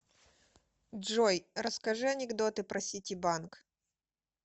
джой расскажи анекдоты про ситибанк